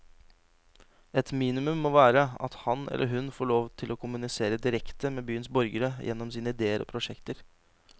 Et minimum må være at han eller hun får lov til å kommunisere direkte med byens borgere, gjennom sine idéer og prosjekter.